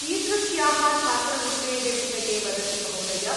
कीदृश्याः छात्रवृत्तेः विषये वदति महोदय?